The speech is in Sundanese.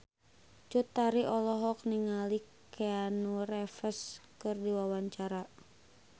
Cut Tari olohok ningali Keanu Reeves keur diwawancara